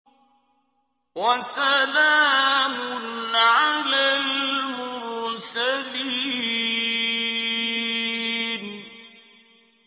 وَسَلَامٌ عَلَى الْمُرْسَلِينَ